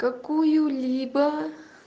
какую-либо